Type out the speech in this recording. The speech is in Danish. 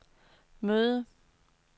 møde